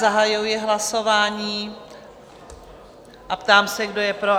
Zahajuji hlasování a ptám se, kdo je pro?